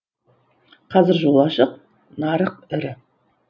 қазір жол ашық нарық ірі